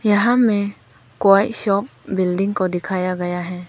यहां में क्वाई शॉप बिल्डिंग को दिखाया गया है।